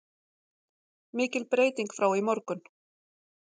Mikil breyting frá í morgun